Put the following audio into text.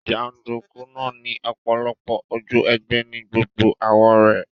Jàndùkú náà ni ọ̀pọ̀lọpọ̀ ojú ogbẹ́ ni gbogbo àwó rẹ̀